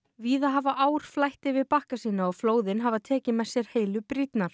víða hafa ár flætt yfir bakka sína og flóðin hafa tekið með sér heilu brýrnar